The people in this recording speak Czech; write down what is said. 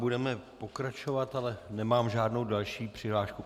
Budeme pokračovat, ale nemám žádnou další přihlášku.